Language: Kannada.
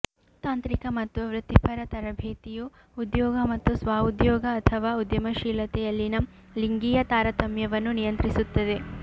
ತಾಂತ್ರಿಕ ಮತ್ತು ವೃತ್ತಿಪರ ತರಬೇತಿಯು ಉದ್ಯೋಗ ಮತ್ತು ಸ್ವ ಉದ್ಯೋಗ ಅಥವಾ ಉದ್ಯಮಶೀಲತೆಯಲ್ಲಿನ ಲಿಂಗೀಯ ತಾರತಮ್ಯವನ್ನು ನಿಯಂತ್ರಿಸುತ್ತದೆ